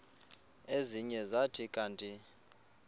ezinye zathi kanti